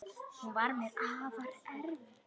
Hún var mér afar erfið.